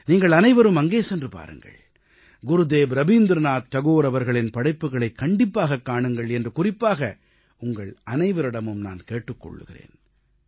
நீங்கள் அனைவரும் அங்கே சென்று பாருங்கள் குருதேவ் ரவீந்திரநாத் தாகூர் அவர்களின் படைப்புக்களைக் கண்டிப்பாகக் காணுங்கள் என்று குறிப்பாக உங்கள் அனைவரிடமும் நான் கேட்டுக் கொள்கிறேன்